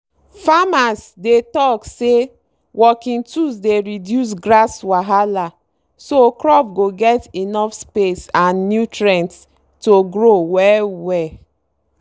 farmers dey talk say working tools dey reduce grass wahala so crop go get enough space and nutrients to grow well-well.